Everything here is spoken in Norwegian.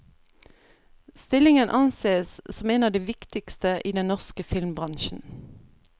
Stillingen ansees som en av de viktigste i den norske filmbransjen.